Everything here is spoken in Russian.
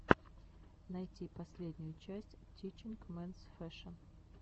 найти последнюю часть тичинг менс фэшэн